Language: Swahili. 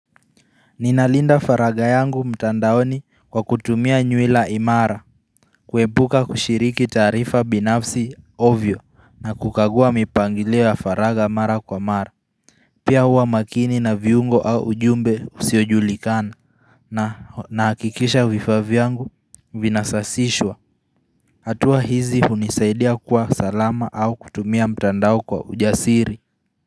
Ninalinda faragha yangu mtandaoni kwa kutumia nywila imara kuepuka kushiriki taarifa binafsi ovyo na kukagua mipangilio ya faragha mara kwa mara Pia huwa makini na viungo au ujumbe usiojulikana na nahakikisha vifaa vyangu vinasasishwa hatua hizi hunisaidia kuwa salama au kutumia mtandao kwa ujasiri.